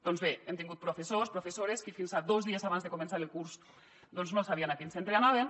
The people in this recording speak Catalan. doncs bé hem tingut professors professores que fins a dos dies abans de començar el curs no sabien a quin centre anaven